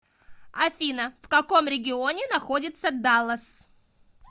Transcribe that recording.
афина в каком регионе находится даллас